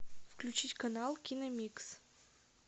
включить канал киномикс